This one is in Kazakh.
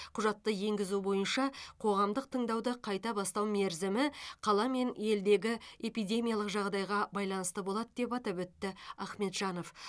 құжатты енгізу бойынша қоғамдық тыңдауды қайта бастау мерзімі қала мен елдегі эпидемиялық жағдайға байланысты болады деп атап өтті ахмеджанов